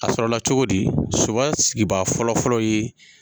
A sɔrɔ la cogo di ? Soba sigibaa fɔlɔfɔlɔ ye